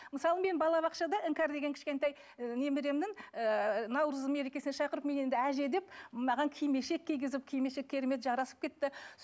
мысалы мен балабақшада іңкәр деген кішкентай і немеремнің ыыы наурыз мерекесіне шақырып мен енді әже деп маған кимешек кигізіп кимешек керемет жарасып кетті